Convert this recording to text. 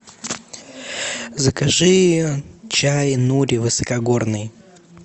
закажи чай нури высокогорный